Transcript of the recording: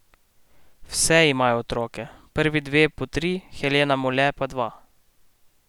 Vse imajo otroke, prvi dve po tri, Helena Mole pa dva.